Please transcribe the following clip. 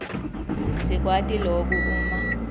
sikwati loku uma